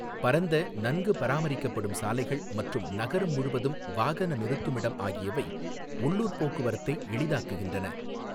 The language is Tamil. பரந்த, நன்கு பராமரிக்கப்படும் சாலைகள் மற்றும் நகரம் முழுவதும் வாகன நிறுத்துமிடம் ஆகியவை உள்ளூர் போக்குவரத்தை எளிதாக்குகின்றன.